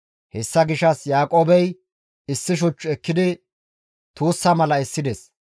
Hessa gishshas Yaaqoobey issi shuch ekkidi tuussa mala essides.